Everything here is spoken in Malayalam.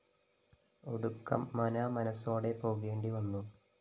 ഒടുക്കം മനാമനസോടെ പോകേണ്ടി വന്നു